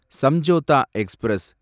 Samjhauta express